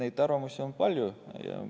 Nii et arvamusi on palju.